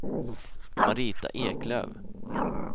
Marita Eklöf